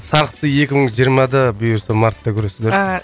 сарқытты екі мың жиырмада бұйырса мартта көресіздер